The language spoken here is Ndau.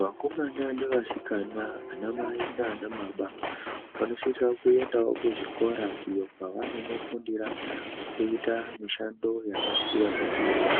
Vakomana nevasikana, anamai nana baba vanosisa kuendaqo kuzvikora iyo kwavanono fundira kuita mishando yakasiyana-siyana